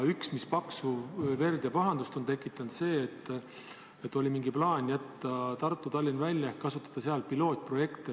Paksu verd ja pahandust on tekitanud ka see, et oli mingi plaan jätta Tartu ja Tallinn sellest välja, kasutada seal pilootprojekte.